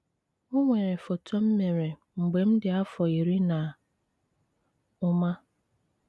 O nwere foto m mere mgbe m dị afọ iri na ụma.